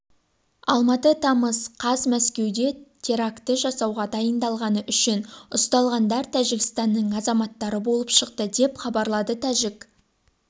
алматы тамыз қаз мәскеуде теракті жасауға дайындалғаны үшін ұсталғандар тәжікстанның азаматтары болып шықты деп хабарлады тәжік